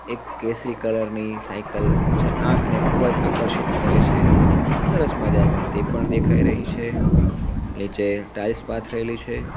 એક કેસરી કલર ની સાઇકલ જે આંખને ખૂબજ આકર્ષિત કરે છે સરસ મજાની તે પણ દેખાય રહી છે નીચે ટાઇલ્સ પાથરેલી છે.